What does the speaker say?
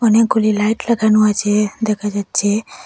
অনেকগুলি লাইট লাগানো আছে দেখা যাচ্ছে।